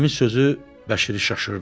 Əmi sözü Bəşiri şaşırdı.